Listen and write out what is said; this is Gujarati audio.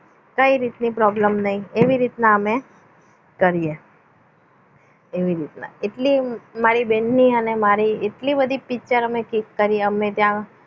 કઈ રીતની problem એવી રીતના અમે કરીએ એવી રીતના એટલે મારી બેનની અને મારી એટલી બધી picture અમે click કરી અમે ત્યાં